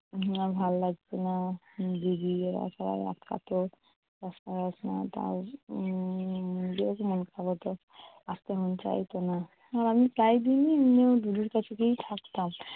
ভালো লাগতো না দিদি এরা সব আটকাতো। উম মন খারাপ হতো আসতে মন চাইতো না, আর আমি প্রায় দিনই এমনিও দিদির কাছে গিয়েই থাকতাম।